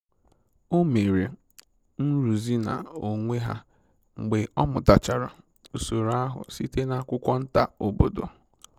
O mere nrụzi na onwe ha mgbe ọ mụtachara usoro ahụ site na akwụkwọ nta obodo